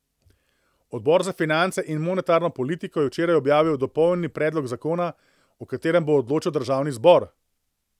Odbor za finance in monetarno politiko je včeraj objavil dopolnjeni predlog zakona, o katerem bo odločal državni zbor.